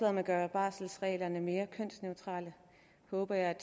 om at gøre barselsreglerne mere kønsneutrale håber jeg at